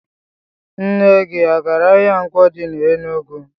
Nne gi agara ahia Nkwo di n'Enugwu?